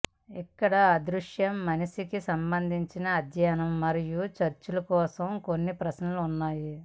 ఇక్కడ అదృశ్య మనిషికి సంబంధించి అధ్యయనం మరియు చర్చ కోసం కొన్ని ప్రశ్నలు ఉన్నాయి